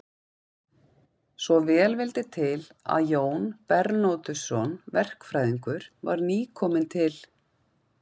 Svo vel vildi til að Jón Bernódusson verkfræðingur var nýkominn til